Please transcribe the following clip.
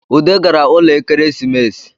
Ude gara ụlọ Ekeresimesi